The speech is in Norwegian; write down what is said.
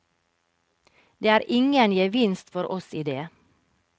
Det er ingen gevinst for oss i det.